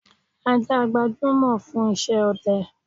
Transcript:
Ajá gbajúmọ̀ fún isẹ́ ọdẹ